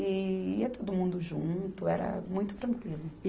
E ia todo mundo junto, era muito tranquilo.